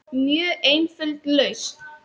Mjög einföld lausn.